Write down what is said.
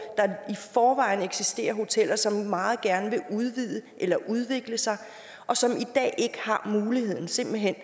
der i forvejen eksisterer hoteller som meget gerne vil udvide eller udvikle sig og som i dag simpelt hen